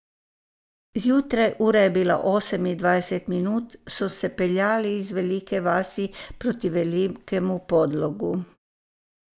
Zjutraj, ura je bila osem in dvajset minut, so se peljali iz Velike vasi proti Velikemu Podlogu.